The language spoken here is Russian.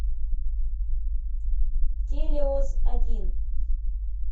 телеос один